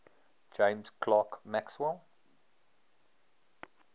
james clerk maxwell